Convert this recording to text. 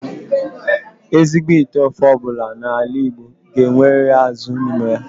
Ezigbo ite ofe obula n'ala Igbo ga-enweriri azu n'ime ya.